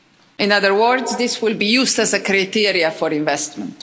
In other words, this will be used as a criteria for investment.